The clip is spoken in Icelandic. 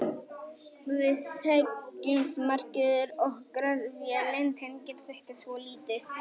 Við þekkjumst margir og Grass-vélin tengir þetta svolítið.